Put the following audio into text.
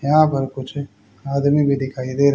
यहां पर कुछ आदमी भी दिखाई दे र--